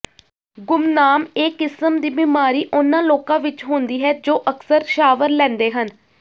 ਗੁਮਨਾਮ ਇਹ ਕਿਸਮ ਦੀ ਬਿਮਾਰੀ ਉਹਨਾਂ ਲੋਕਾਂ ਵਿੱਚ ਹੁੰਦੀ ਹੈ ਜੋ ਅਕਸਰ ਸ਼ਾਵਰ ਲੈਂਦੇ ਹਨ